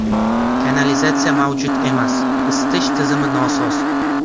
Kanalizatsiya mavjud emas, isitish tizimi nosoz.